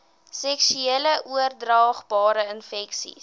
seksueel oordraagbare infeksies